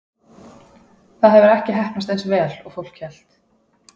Það hefur ekki heppnast eins vel og fólk hélt.